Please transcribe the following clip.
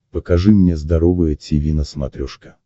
покажи мне здоровое тиви на смотрешке